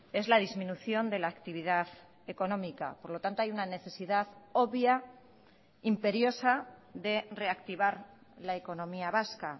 es la disminución de la actividad económica por lo tanto hay una necesidad obvia imperiosa de reactivar la economía vasca